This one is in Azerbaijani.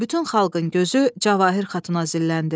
Bütün xalqın gözü Cavahir Xatuna zilləndi.